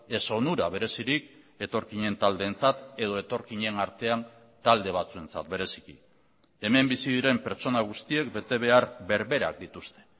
ez onura berezirik etorkinen taldeentzat edo etorkinen artean talde batzuentzat bereziki hemen bizi diren pertsona guztiek betebehar berberak dituzte